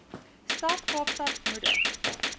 stad kaapstad moedig